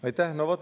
Aitäh!